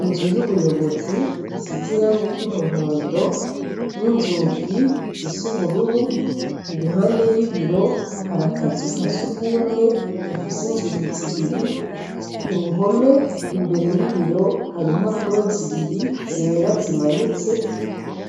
Inzu y'ubuyobozi isize irangi ry'umuhondo n'inzugi zisubururu i ruhande y'ibiro harakazukase ugumwe gafise inzugi zibiri ku ruhome imbere y'ibiro hari impapuro zibiri zera zimanitse